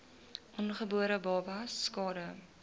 ongebore babas skade